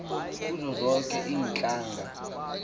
kuzo zonke iintlanga